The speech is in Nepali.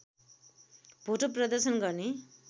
भोटो प्रदर्शन गर्ने